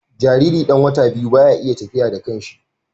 Jariri ɗan wata biyu baya iya tafiya da kanshi